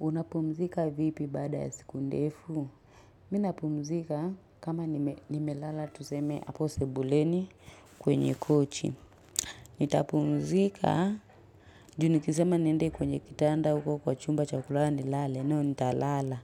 Unapumzika vipi baada ya siku ndefu? Mimi napumzika kama nimelala tuseme hapo sebuleni kwenye kochi. Nitapumzika ju nikisema niende kwenye kitanda huko kwa chumba chakulala nilale No, nitalala